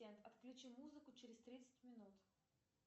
отключи музыку через тридцать минут